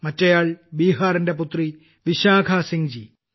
മറ്റേയാൾ ബീഹാറിന്റെ പുത്രി വിശാഖാ സിംഹ്ജി